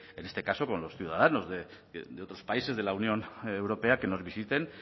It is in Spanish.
en este caso con los ciudadanos de otros países de la unión europea que nos visiten